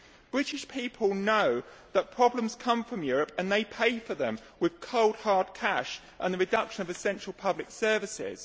British people know that problems come from Europe and they pay for them with cold, hard cash and the reduction of essential public services.